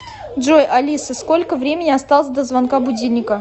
джой алиса сколько времени осталось до звонка будильника